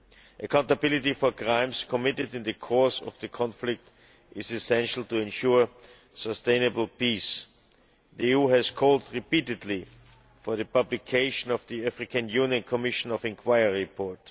Accountability for crimes committed in the course of the conflict is essential to ensure sustainable peace. The EU has called repeatedly for the publication of the African Union Commission of Inquiry report.